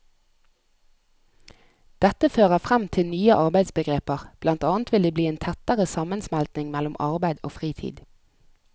Dette fører frem til nye arbeidsbegreper, blant annet vil det bli en tettere sammensmeltning mellom arbeid og fritid.